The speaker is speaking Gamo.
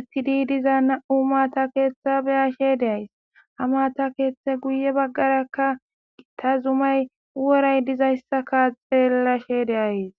etiidi diza na'u mata keeththa be'ashshe de'ays ha maata keeththe guye baggarakka gitta zumay woray dizayssakka xeellashe de'ays